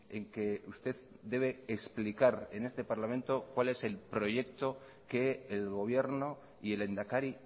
en que usted debe explicar en este parlamento cuál es el proyecto que el gobierno y el lehendakari